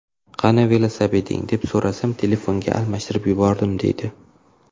Qani velosipeding, deb so‘rasam telefonga almashtirib yubordim, deydi.